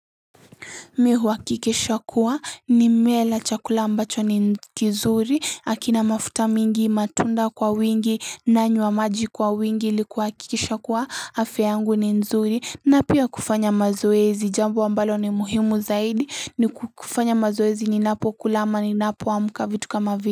Mi huakikisha kuwa nimela chakula ambacho ni kizuri hakina mafuta mingi matunda kwa wingi nanywa maji kwa wingi ili kuhakikisha kuwa afya yangu ni nzuri na pia kufanya mazoezi jambo ambalo ni muhimu zaidi ni kufanya mazoezi ninapo kula ama ninapo amka vitu kama vile.